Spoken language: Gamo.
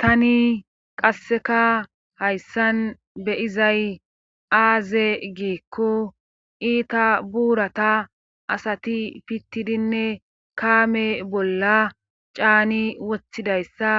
Tani qasseka hayssan beyizay aaze giikko iita buurata asati pittidinne kaame bolla caani wothidayssa